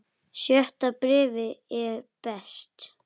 Sjötta bréfið er best.